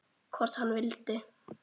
Hvort hann vildi!